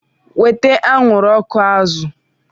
Weta anwụrụ ọkụ azụ!